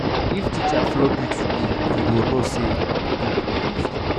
if teacher flog you today you go know say book no easy.